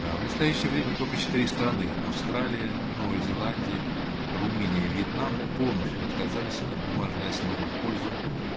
аа в настоящее время только четыре страны аа австралия новая зеландия румыния и вьетнам полностью отказались от бумажной основой в пользу